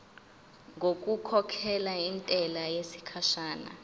ngokukhokhela intela yesikhashana